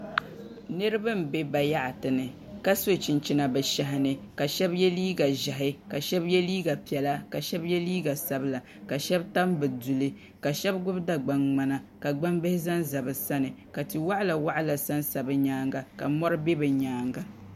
Niraba n bɛ bayaɣati ni ka so chinchina bi shɛhi ni ka shab yɛ liiga ʒiɛhi ka shab yɛ liiga piɛla ka shab yɛ liiga sabila ka shab tam bi duli ka shab gbubi dagban ŋmana ka gbambihi zanza bi sani ka tia waɣala waɣala sansa bi nyaanga ka mori bɛ bi nyaanga